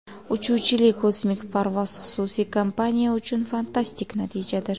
Uchuvchili kosmik parvoz xususiy kompaniya uchun fantastik natijadir.